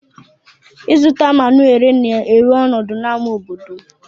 Izụta ma na ere na ewere ọnọdụ na ama obodom.